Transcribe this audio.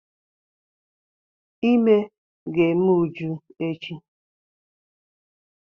Ímé ga-eme Uju echi.